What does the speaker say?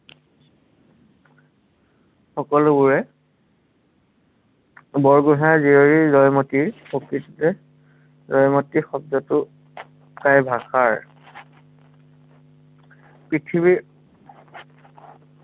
সকলোবোৰে বৰগোঁহাই জীয়ৰী জয়মতীৰ প্ৰকৃততে জয়মতী শব্দটো টাই ভাষাৰ পৃথিৱাৰী